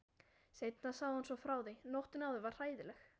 Seinna sagði hún svo frá því: Nóttin áður var hræðileg.